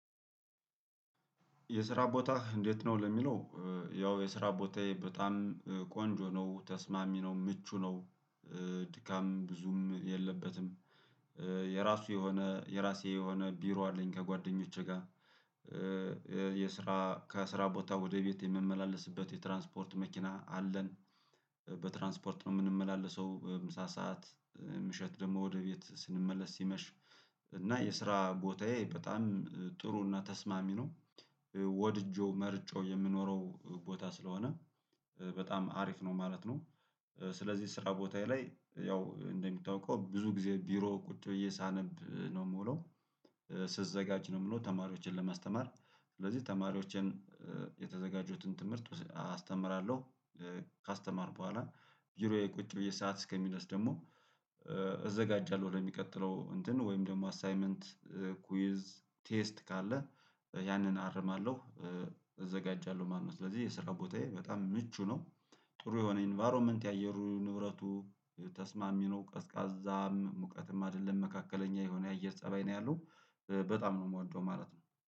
የስራ ቦታህ እንዴት ነው ለሚለው? ያው የስራ ቦታዬ በጣም ቆንጆ ነው ተስማሚ ነው ምቹ ነው። ድካም ብዙም የለበትም። የራሱ የሆነ የራሴ የሆነ ቢሮ አለኝ ከጓደኞቼ ጋር። የስራ ከስራ ቦታ ወደ ቤቴ የምመላለስበት የትራንስፖርት መኪና አለን። በትራንስፖርት ነው የምንመላለሰው ምሳ ሰዓት። ምሽት ደግሞ ወደ ቤት ስንመለስ ሲመሽ እና የስራ ቦታዬ በጣም ጥሩና ተስማሚ ነው። ወድጄው መረቼጬው የምኖረው ቦታ ስለሆነ በጣም አሪፍ ነው ማለት ነው። ስለዚህ ስራ ቦታዬ ላይ ያው እንደምታውቀው ብዙ ጊዜ ቢሮ ቁጭ ብዬ ሳነብ ነው የምውለው። ስዘጋጅ ነው የምለው ተማሪዎችን ለማስተማር ስለዚህ ተማሪዎችን የተዘጋጁትን ትምህርት አስተምራለሁ። ካስተማርኩ በኋላ ብሮዬ ቁጭ ብዬ ሰዓት እስከሚደርስ ደግሞ እዘጋጃለሁ ወደሚቀጥለው እንትን ወይም ደግሞ አሳይመንት ኩዊዝ ቴስት ካለ ያንን አርማለሁ። እዘጋጃለሁ ማለት ነው ስለዚህ የስራ ቦታዬ በጣም ምቹ ነው። ጥሩ የሆነ ኢንቫይሮመንት የአየሩ ንብረቱ ተስማሚ ነው ቀዝቃዛም ሙቀትም አይደለም መካከለኛ የሆነ የአየር ፀባይ ነው ያለው በጣም ነው የምወደው ማለት ነው